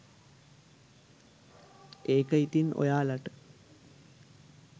ඒක ඉතින් ඔයාලට